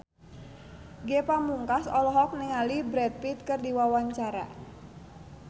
Ge Pamungkas olohok ningali Brad Pitt keur diwawancara